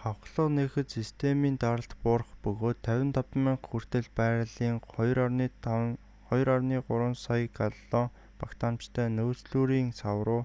хавхлага нээхэд системийн даралт буурах бөгөөд 55,000 хүртэл баррелийн 2,3 сая галлон багтаамжтай нөөцлүүрийн сав руу